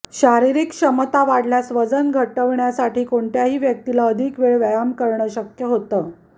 शारीरिक क्षमता वाढल्यास वजन घटवण्यासाठी कोणत्याही व्यक्तीला अधिक वेळ व्यायाम करणं शक्य होतं